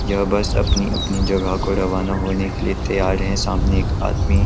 यह बस अपनी-अपनी जगह को रवाना होने के लिए तयार है सामने एक आदमी--